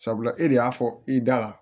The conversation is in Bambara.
Sabula e de y'a fɔ i da la